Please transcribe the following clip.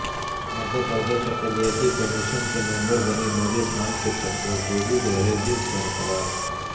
مدھیہ پردیش اقلیتی کمیشن کی ممبربنی نوری خان کی تقرری رہے گی برقرار